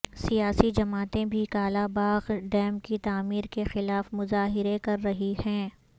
سیاسی جماعتیں بھی کالاباغ ڈیم کی تعمیر کے خلاف مظاہرے کر رہی ہیں